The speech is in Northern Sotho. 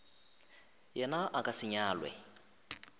yena a ka se nyalwe